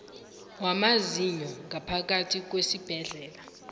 wamazinyo ngaphakathi kwesibhedlela